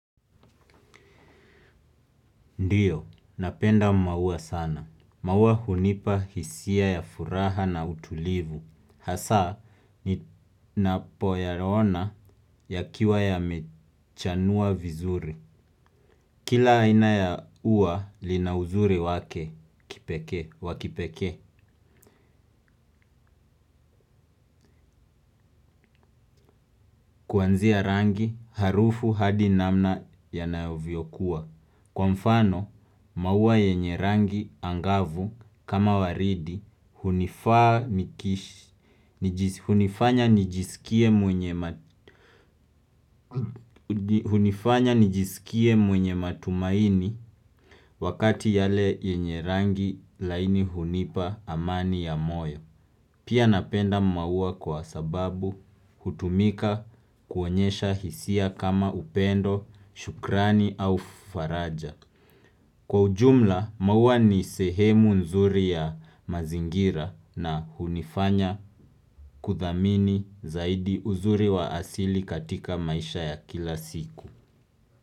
Ndiyo, napenda maua sana. Maua hunipa hisia ya furaha na utulivu. Hasa, ninapo yaona ya kiwa ya mechanua vizuri. Kila aina ya uwa lina uzuri wake wa kipekee kuanzia rangi harufu hadi namna yanavyo kuwa. Kwa mfano maua yenye rangi angavu kama waridi hunifanya nijiskie mwenye matumaini wakati yale yenye rangi laini hunipa amani ya moyo. Pia napenda maua kwa sababu hutumika kuonyesha hisia kama upendo, shukrani au faraja. Kwa ujumla, maua ni sehemu nzuri ya mazingira na hunifanya kuthamini zaidi uzuri wa asili katika maisha ya kila siku.